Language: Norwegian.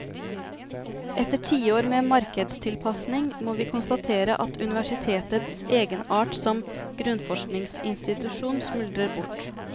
Etter tiår med markedstilpasning må vi konstatere at universitetets egenart som grunnforskningsinstitusjon smuldrer bort.